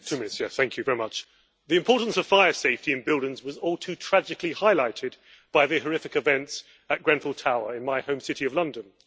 Mr President, the importance of fire safety in buildings was all too tragically highlighted by the horrific events at Grenfell Tower in my home city of London.